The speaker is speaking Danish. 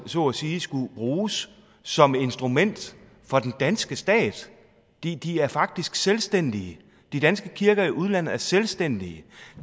så at sige skulle bruges som instrument for den danske stat de de er faktisk selvstændige de danske kirker i udlandet er selvstændige